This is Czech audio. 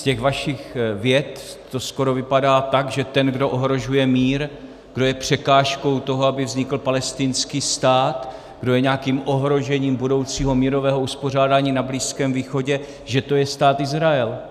Z těch vašich vět to skoro vypadá tak, že ten, kdo ohrožuje mír, kdo je překážkou toho, aby vznikl palestinský stát, kdo je nějakým ohrožením budoucího mírového uspořádání na Blízkém východě, že to je Stát Izrael.